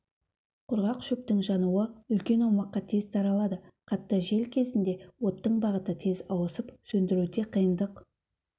құрғақ шөптің жануы үлкен аумаққа тез таралады қатты жел кезінде оттың бағыты тез ауысып сөндіруде қиындық